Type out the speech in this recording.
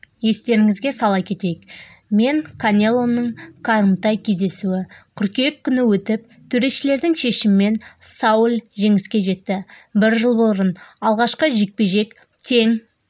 естеріңізге сала кетейік мен канелоның қарымта кездесуі қыркүйек күні өтіп төрешілердің шешімімен сауль жеңіске жетті бір жыл бұрын алғашқы жекпе-жек тең